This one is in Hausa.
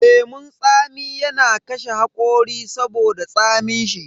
Lemun tsami yana kashe hakori saboda tsamin shi.